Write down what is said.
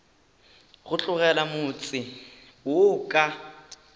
go tlogela motse wo ka